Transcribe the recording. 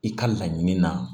I ka laɲini na